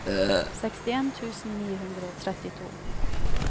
sekstien tusen ni hundre og trettito